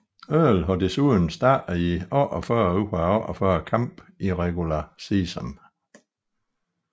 Earl har desuden startet i 48 ud af 48 kampe i regular season